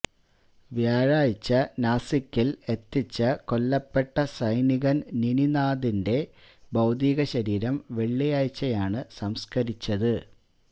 വ്യാഴാഴ്ച നാസികില് എത്തിച്ച കൊല്ലപ്പെട്ട സൈനികന് നിനാഥിന്റെ ഭൌതിക ശരീരം വെള്ളിയാഴ്ചയാണ് സംസ്കരിച്ചത്